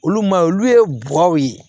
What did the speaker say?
Olu ma olu ye guwɛri ye